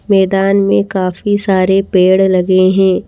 मैदान में काफी सारे पेड़ लगे हैं।